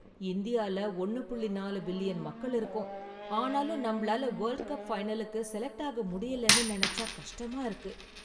இந்தியால ஒன்னு புள்ளி நாலு பில்லியன் மக்கள் இருக்கோம் ஆனாலும் நம்மளால வேல்ட் கப் ஃபைனலுக்கு செலக்ட் ஆக முடியலன்னு நெனச்சா கஷ்டமா இருக்கு.